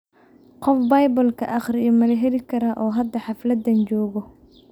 Qof biblka akhriyo mala heli karaa oo hada hafladhan jogox?